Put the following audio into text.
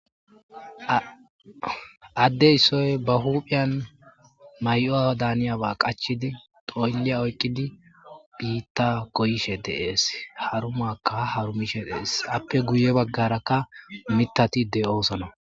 addeyissoy ba huuphiyan may7oa daaniyaba qachidi xoylliya oykqidi biitta koyishe deees harumakka harumishe dees appe guye baggarakka mitati de7oosona